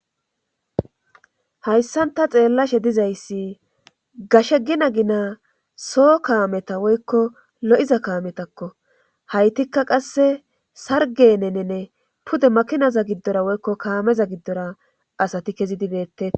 Hayssan ta xeellashe dizayssi gashe gina gina soo kaameta woykko lo7iza kaametakko haytikka qasse sargenenene pude makinaza giddora woykko kaameza giddora asati kezi dibeette